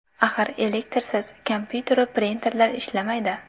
Axir elektrsiz kompyuteru printerlar ishlamaydi.